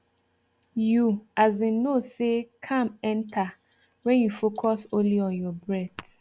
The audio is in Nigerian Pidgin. you as in know say calm enter when you focus only on your breath